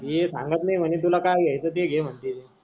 ये सांगत नाही मने तुला काय घ्यायचं ते घे मानते.